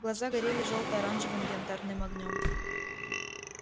глаза горели жёлто-оранжевым янтарным огнём